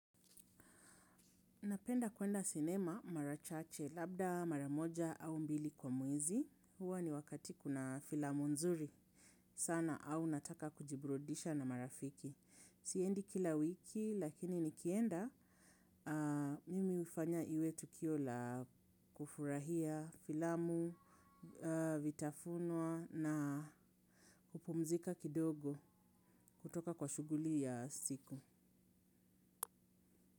Napenda kwenda sinema marachache, labda mara moja au mbili kwa mwezi. Huwa ni wakati kuna filamu nzuri sana au nataka kujiburudisha na marafiki. Siendi kila wiki lakini nikienda mimi huifanya iwe tukio la kufurahia filamu, vitafunwa na kupumzika kidogo kutoka kwa shuguli ya siku.